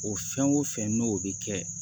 O fɛn o fɛn n'o bi kɛ